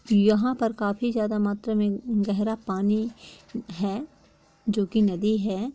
यहाँ पर काफी ज्यादा मात्रा में ऊँ गहरा पानी है जो की नदी है।